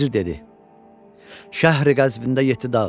Vəzir dedi: "Şəhri Qəzbində yeddi dağ var.